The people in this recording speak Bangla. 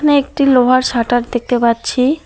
একটি লোহার শাটার দেখতে পাচ্ছি।